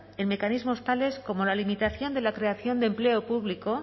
en mecanismos tales como la limitación de la creación de empleo público